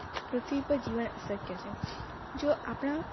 પૃથ્વી પર જીવન અશક્ય છે જો આપણા